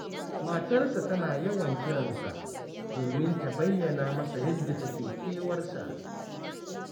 Matarsa tana yawan kiran sa, domin ta bayyana masa yadda take kewarsa